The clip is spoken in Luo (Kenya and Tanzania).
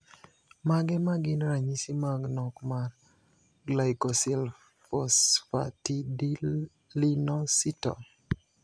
Mage magin ranyisi mag nok mar Glycosylphosphatidylinositol?